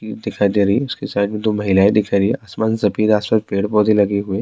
دکھائی دے رہی ہےاس کے ساتھ میں دو مہلائے دکھائی دے رہی ہیں اسمان سفید سامنے بیڈ پودے لگے ہوئے ہیں-